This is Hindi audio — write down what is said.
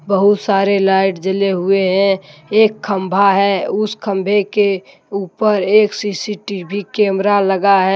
बहुत सारे लाइट जले हुए हैं एक खंभा है उस खंभे के ऊपर एक सी_सी_टी_वी कैमरा लगा है।